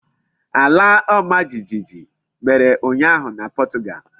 Ala omajijiji mere unyahu na Portugal.